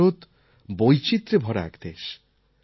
ভারত বৈচিত্রে ভরা এক দেশ